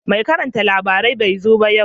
Mai karanta labarai bai zo ba yau